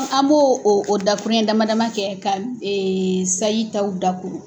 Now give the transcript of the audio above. An mo o o dakuruɲɛ dama dama kɛ ka sayi taw dakuru.